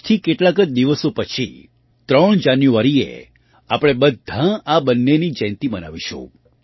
આજથી કેટલાક જ દિવસો પછી ૩ જાન્યુઆરીએ આપણે બધાં આ બંનેની જયંતી મનાવીશું